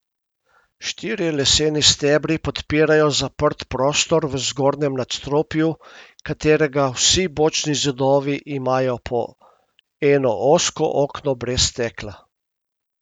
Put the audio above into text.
Štirje leseni stebri podpirajo zaprt prostor v zgornjem nadstropju, katerega vsi bočni zidovi imajo po eno ozko okno brez stekla.